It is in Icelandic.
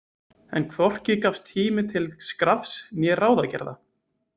En hvorki gafst tími til skrafs né ráðagerða.